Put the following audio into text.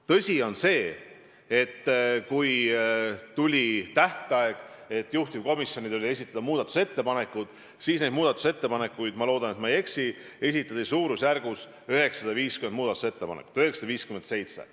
Tõsi on see, et kui tuli juhtivkomisjonile esitada muudatusettepanekuid, siis neid muudatusettepanekuid – ma loodan, et ma ei eksi – esitati suurusjärgus 950, täpsemalt 957.